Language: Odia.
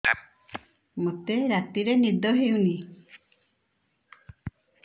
ମୋତେ ରାତିରେ ନିଦ ହେଉନି